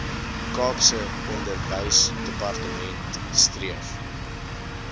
kaapse onderwysdepartement streef